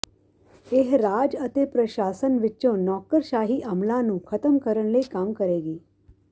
ਇਹ ਰਾਜ ਅਤੇ ਪ੍ਰਸ਼ਾਸਨ ਵਿਚੋਂ ਨੌਕਰਸ਼ਾਹੀ ਅਮਲਾਂ ਨੂੰ ਖਤਮ ਕਰਨ ਲਈ ਕੰਮ ਕਰੇਗੀ